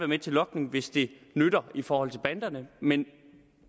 med til logning hvis det nytter i forhold til banderne men